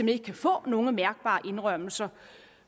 ikke kan få nogen mærkbare indrømmelser